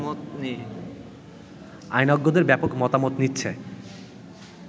আইনজ্ঞদের ব্যাপক মতামত নিচ্ছে